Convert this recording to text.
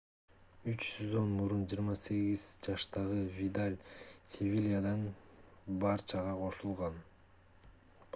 үч сезон мурун 28 жаштагы видаль севильядан барчага кошулган